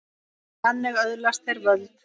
Því þannig öðlast þeir völd.